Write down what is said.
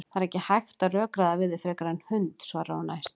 Það er ekki hægt að rökræða við þig frekar en hund, svarar hún æst.